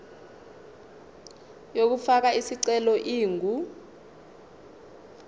yokufaka isicelo ingu